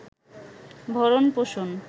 ভরণ পোষণ